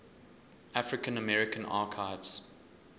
african american archives